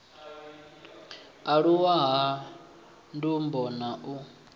aluwa ha ndumbo na u